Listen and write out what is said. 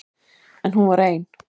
En hún var ein.